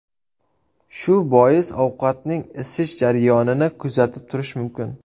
Shu bois ovqatning isish jarayonini kuzatib turish mumkin.